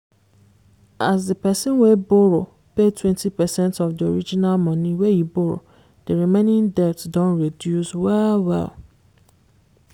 as the person wey borrow pay 20 percent of the original money wey e borrow the remaining debt don reduce well-well.